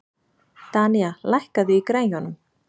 Danía, lækkaðu í græjunum.